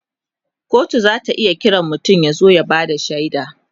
kotu zata iya Kiran mutum ya zo ya Bada shaida